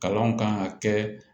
Kalanw kan ka kɛ